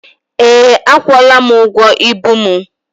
Ee, akwụọla m ụgwọ ibu mụ.